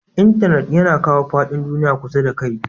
Intenet yana kawo fadin duniyya kusa da kai.